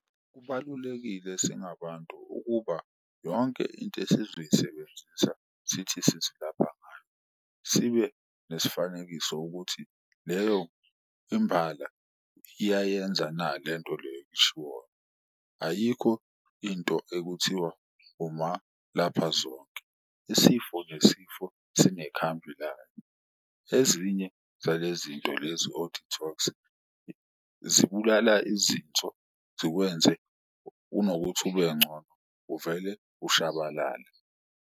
Kubalulekile singabantu ukuba yonke into esizoyisebenzisa sithi sizilapha ngayo sibe nesifanekiso ukuthi, leyo imbala iyayenza na lento leyo eshiwoyo. Ayikho into ekuthiwa uma lapha zonke isifo nesifo sine khambi layo, ezinye zalezinto lezi oku-detox-a zibulala izinso zikwenze unokuthi ube ngcono uvele ushabalale.